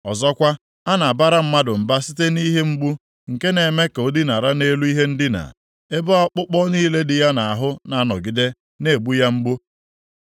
“Ọzọkwa, a na-abara mmadụ mba site nʼihe mgbu nke na-eme ka o dinara nʼelu ihe ndina, ebe ọkpụkpọ niile dị ya nʼahụ na-anọgide na-egbu ya mgbu.